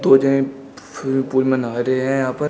दो जन पूल में नहा रहे हैं यहां पर।